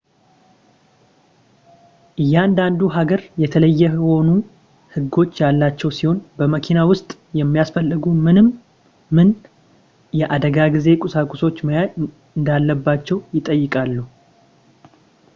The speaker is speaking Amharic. እያንዳንዱ ሀገር የተለየ የሆኑ ህጎች ያሏቸው ሲሆን በመኪና ውስጥ የሚያስፈልጉ ምን ምን የአደጋ ጊዜ ቁሳቁሶች መያዝ እንዳለባቸው ይጠይቃሉ